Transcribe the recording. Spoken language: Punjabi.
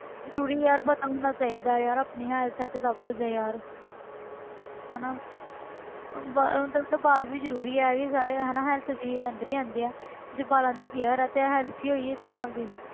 ਜ਼ਰੂਰੀ ਯਾਰ ਪਤਾ ਹੋਣਾ ਚਾਹੀਦਾ ਯਾਰ ਆਪਣੀ health ਹੈ ਤੇ ਸਭ ਕੁੱਝ ਹੈ ਯਾਰ ਹਨਾ ਹਮ ਤੈਨੂੰ ਪਤਾ ਵਾਲ ਵੀ ਜ਼ਰੂਰੀ ਆ ਇਹ ਵੀ ਸਾਰੇ ਹਨਾ health ਦੇ ਅੰਦਰ ਹੀ ਆਉਂਦੇ ਆ ਜੇ ਵਾਲਾਂ ਦੀ care ਆ ਤੇ health ਹੀ ਹੋਈ ਇੱਕ ਹਿਸਾਬ ਦੀ।